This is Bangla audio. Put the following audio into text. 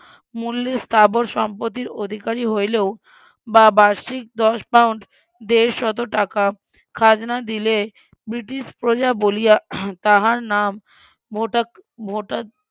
মুল্যের স্থাবর সম্পত্তির অধিকারি হইলেও বা বার্ষিক দশ পাউন্ড দেড় শত টাকা খাজনা দিলে ব্রিটিশ প্রজা বলিয়া তাহার নাম ভোটা ভোটা